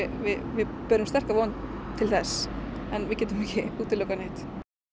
við berum sterka von til þess en við getum ekki útilokað neitt